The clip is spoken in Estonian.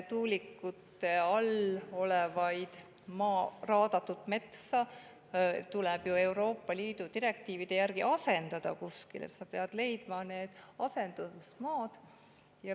Tuulikute alla metsa tuleb ju Euroopa Liidu direktiivide järgi asendada ja kuskilt peab leidma need asendusmaad.